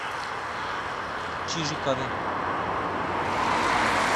чижикове